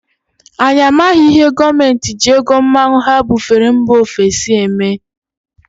Anyị amaghị ihe gọọmenti ji ego mmanụ ha bufere mba ofesi eme.